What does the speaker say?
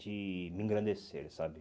De me engrandecer, sabe?